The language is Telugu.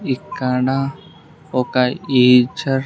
ఇక్కడ ఒక ఈచర్ --